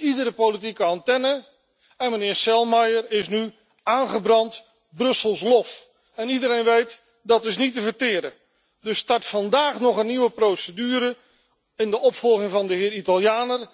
iedere politieke antenne mist. En meneer Selmayr is nu aangebrand Brussels lof en iedereen weet dat dat niet te verteren is. Er start vandaag nog een nieuwe procedure in de opvolging van de heer Italianer.